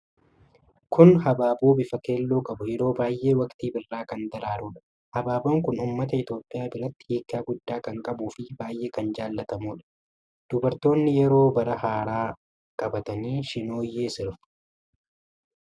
Kun habaaboo bifa keelloo qabu, yeroo baay'ee waqtii birrraa kan daraarudha. Habaaboon kun ummata Itoophiyaa biratti hiika guddaa kan qabuu fi baay'ee kan jallatamuudha. Dubartoonni yeroo bara haaraa qabatanii shinooyyee sirbu.